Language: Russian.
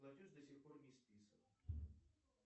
платеж до сих пор не списан